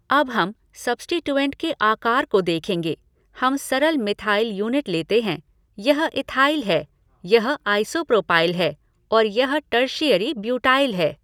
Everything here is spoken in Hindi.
अब हम सब्स्टिटूऐंट के आकार को देखेंगे, हम सरल मिथाइल यूनिट लेते हैं, यह इथाइल है, यह आइसोप्रोपाइल है और यह टर्शीएरी ब्यूटाइल है।